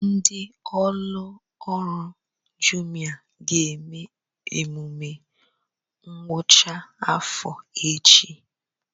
Ndị ụlọ ọrụ Jumia ga-eme emume ngwụcha afọ echi